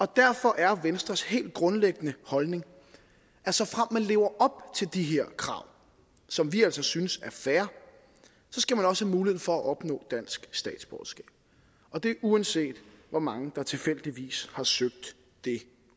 derfor er venstres helt grundlæggende holdning at såfremt man lever op til de her krav som vi altså synes er fair skal man også have mulighed for at opnå dansk statsborgerskab og det uanset hvor mange der tilfældigvis har søgt det